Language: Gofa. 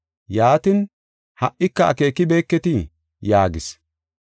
Yaatin, “Ha77ika akeekibeketii?” yaagis.